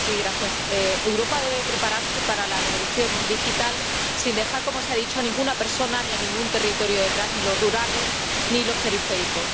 Señora presidenta, Europa debe prepararse para la revolución digital sin dejar —como se ha dicho— a ninguna persona ni a ningún territorio detrás, ni los rurales, ni los periféricos.